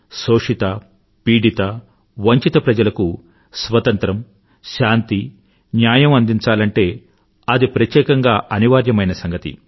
శోషితపీడిత వంచిత ప్రజలకు స్వతంత్రం శాంతి న్యాయం అందించాలంటే అది ప్రత్యేకంగా అనివార్యమైన సంగతి